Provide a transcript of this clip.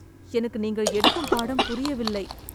எனக்கு நீங்கள் எடுக்கும் பாடம் புரியவில்லை